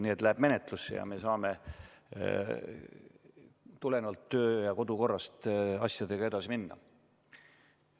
Nii et see läheb menetlusse ja me saame tulenevalt kodu- ja töökorrast asjadega edasi minna.